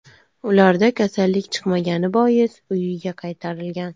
Ularda kasallik chiqmagani bois, uyiga qaytarilgan.